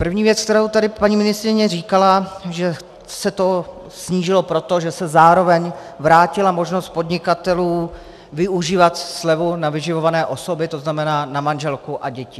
První věc, kterou tady paní ministryně říkala, že se to snížilo proto, že se zároveň vrátila možnost podnikatelů využívat slevu na vyživované osoby, to znamená na manželku a děti.